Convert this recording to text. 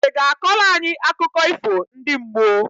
I ga akọlụ anyị akụkọ ifo ndi mmuoǃ